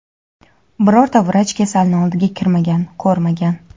birorta vrach kasalni oldiga kirmagan, ko‘rmagan.